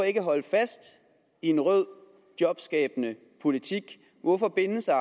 ikke holder fast i en rød jobskabende politik hvorfor binde sig